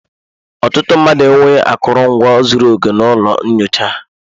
Ọtụtụ mahadum enweghị akụrụngwa zuru oke na ụlọ nyocha ha.